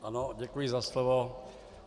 Ano, děkuji za slovo.